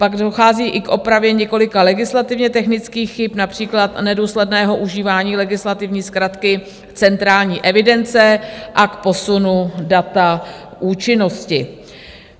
Pak dochází i k opravě několika legislativně technických chyb, například nedůsledného užívání legislativní zkratky centrální evidence, a k posunu data účinnosti.